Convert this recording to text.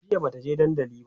jiya Bata je dandali ba